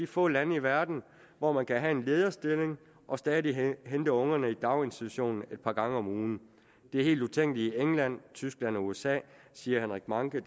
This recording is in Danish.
få lande i verden hvor man kan have en lederstilling og stadig hente ungerne i daginstitution et par gange om ugen det er helt utænkeligt i england tyskland og usa siger henrik mahncke